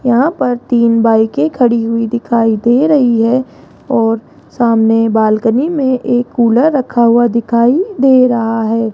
यहां पर तीन बाइके खड़ी हुई दिखाई दे रही है और सामने बालकनी मे एक कूलर रखा हुआ दिखाई दे रहा है।